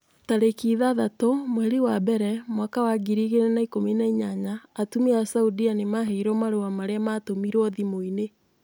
Tarĩki ithathatũ mweri wa mbere mwaka wa ngiri igĩrĩ na ikũmi na inyanya atumia a saudia nimaheirũo marua marĩa matũmirwo thimũ-inĩ